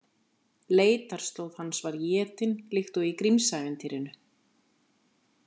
Leitarslóð hans var étin líkt og í Grimmsævintýrinu.